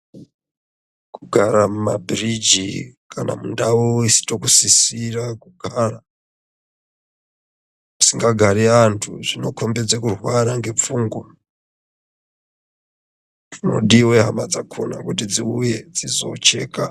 Kugara mu mabhiriji kana mu ndau isina kusisira kugara isinga gari antu zvino kombidze kurwara nge pfungwa chino diwe kuti hama dzakona dziuye dzizo cheka.